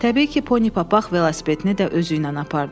Təbii ki, Pony Papaq velosipedini də özü ilə apardı.